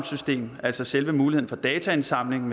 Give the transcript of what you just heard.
system altså selve muligheden for dataindsamling